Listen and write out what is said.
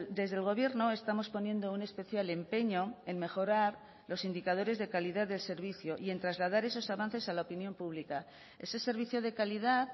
desde el gobierno estamos poniendo un especial empeño en mejorar los indicadores de calidad del servicio y en trasladar esos avances a la opinión pública ese servicio de calidad